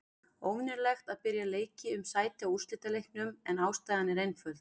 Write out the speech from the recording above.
Óvenjulegt að byrja leiki um sæti á úrslitaleiknum, en ástæðan er einföld.